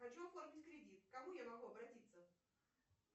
хочу оформить кредит к кому я могу обратиться